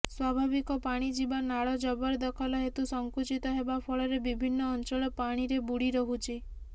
ସ୍ବାଭାବିକ ପାଣି ଯିବା ନାଳ ଜବରଦଖଲ ହେତୁ ସଂକୁଚିତ ହେବା ଫଳରେ ବିଭିନ୍ନ ଅଞ୍ଚଳ ପାଣିରେ ବୁଡ଼ି ରହୁଛି